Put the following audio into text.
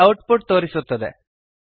ಇಲ್ಲಿ output ತೋರಿಸುತ್ತದೆ